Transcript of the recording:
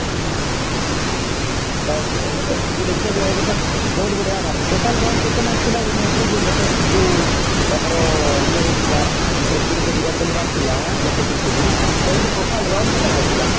ସେଟା ଏବେ ତ ବହୁତ ବଢିଆ ମାରିଛି total run କେତେ ମାରିଥିଲା ଏଇ match ରେ ଯୋଉ latest ଯୋଉ ଆମର ୟେ ହେଇଥିଲା ଯୋଉ century ଯଯୋଉ ବିରାଟ କୋହଲୀ ଯୋଉ ମାରିଥିଲା latest century ସେଥିରେ ସିଏ total run କେତେ ମାରିଥିଲା